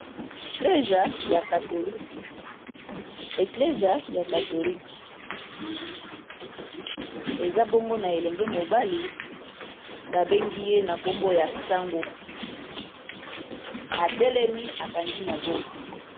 Eklesa ya katholike eza bongo na elenge mobali babengi ye na nkombo ya sango atelemi akangi maboko.